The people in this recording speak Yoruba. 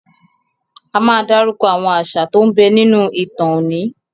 A máa dárúkọ àwọn àṣà tó ń bẹ nínú ìtàn oní.